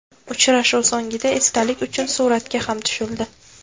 Uchrashuv so‘ngida esdalik uchun suratga ham tushildi.